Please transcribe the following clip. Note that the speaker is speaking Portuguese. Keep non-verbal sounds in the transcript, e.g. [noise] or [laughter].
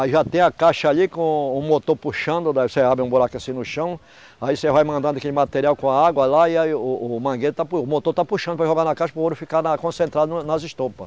Aí já tem a caixa ali com o motor puxando, daí você abre um buraco assim no chão, aí você vai mandando aquele material com a água lá e aí o o mangueiro está, [unintelligible] o motor está puxando para jogar na caixa para o ouro ficar concentrado nas estopas.